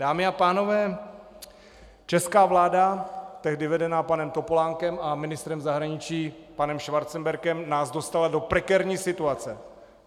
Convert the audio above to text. Dámy a pánové, česká vláda, tehdy vedená panem Topolánkem a ministrem zahraničí panem Schwarzenbergem, nás dostala do prekérní situace.